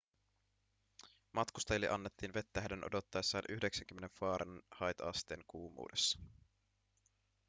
matkustajille annettiin vettä heidän odottaessaan 90 fahrenheitasteen kuumuudessa